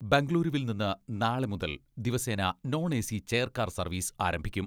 ബംഗളൂരുവിൽ നിന്ന് നാളെ മുതൽ ദിവസേന നോൺ എ.സി ചെയർകാർ സർവീസ് ആരംഭിക്കും.